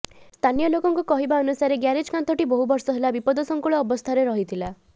ସ୍ଥାନୀୟ ଲୋକଙ୍କ କହିବା ଅନୁସାରେ ଗ୍ୟାରେଜ କାନ୍ଥଟି ବହୁ ବର୍ଷ ହେଲା ବିପଦଶଙ୍କୁଳ ଅବସ୍ଥାରେ ଥିଲା